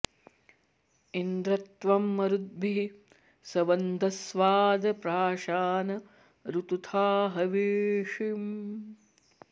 इन्द्र॒ त्वं म॒रुद्भिः॒ सं व॑द॒स्वाध॒ प्राशा॑न ऋतु॒था ह॒वींषि॑